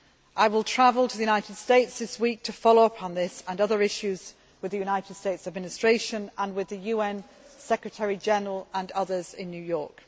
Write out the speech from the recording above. I will travel to the United States this week to follow up on this and other issues with the United States Administration, and with the UN Secretary General and others in New York.